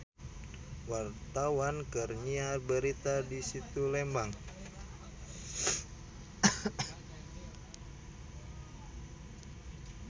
Wartawan keur nyiar berita di Situ Lembang